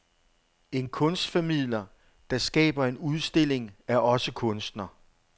En kunstformidler, der skaber en udstilling, er også kunstner.